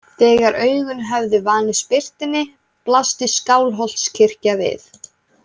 Þegar augun höfðu vanist birtunni blasti Skálholtskirkja við.